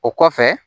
O kɔfɛ